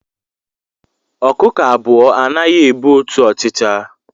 Ọkụkọ abụọ anaghị ebu otu ọchịcha